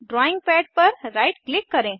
drawing पद पर right click करें